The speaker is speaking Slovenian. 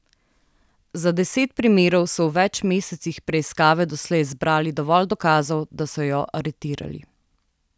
Za deset primerov so v več mesecih preiskave doslej zbrali dovolj dokazov, da so jo aretirali.